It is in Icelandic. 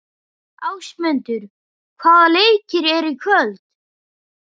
Ásmundur, hvaða leikir eru í kvöld?